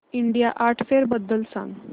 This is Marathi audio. इंडिया आर्ट फेअर बद्दल सांग